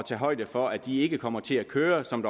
tage højde for at de ikke kommer til at køre som